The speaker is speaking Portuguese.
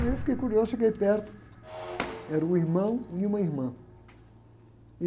Aí eu fiquei curioso, cheguei perto, era um irmão e uma irmã.